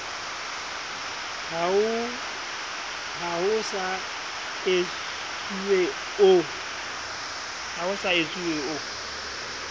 ha ho so etsuwe o